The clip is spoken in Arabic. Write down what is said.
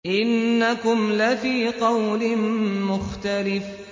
إِنَّكُمْ لَفِي قَوْلٍ مُّخْتَلِفٍ